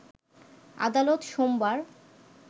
আদালত সোমবার